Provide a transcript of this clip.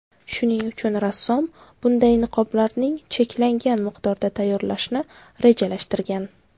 Shuning uchun rassom bunday niqoblarning cheklangan miqdorda tayyorlashni rejalashtirgan.